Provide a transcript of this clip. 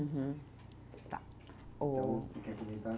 Uhum, tá, o. você quer comentar?